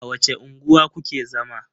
A wace unguwa ku ke zama?